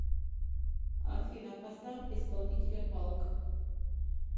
афина поставь исполнителя палк